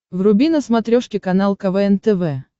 вруби на смотрешке канал квн тв